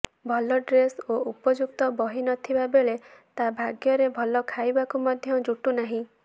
ଭଲ ଡ୍ରେସ୍ ଓ ଉପଯୁକ୍ତ ବହି ନଥିବାବେଳେ ତା ଭାଗ୍ୟରେ ଭଲ ଖାଇବାକୁ ମଧ୍ୟ ଜୁଟୁନାହିଁ